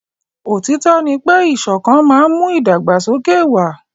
Òtítọ́ ní pé ìṣọ̀kan má n mú ìdàgbàsókè wà.